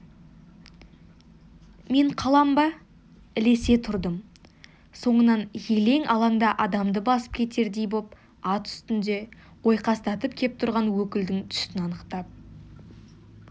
мен қалам ба ілесе тұрдым соңынан елең-алаңда адамды басып кетердей боп ат үстінде ойқастатып кеп тұрған өкілдің түсін анықтап